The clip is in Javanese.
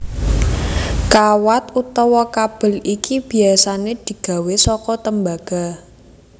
Kawat utawa kabel iki biasané digawé saka tembaga